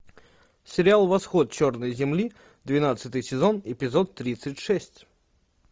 сериал восход черной земли двенадцатый сезон эпизод тридцать шесть